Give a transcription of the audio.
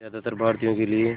ज़्यादातर भारतीयों के लिए